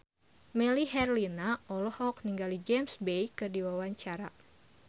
Melly Herlina olohok ningali James Bay keur diwawancara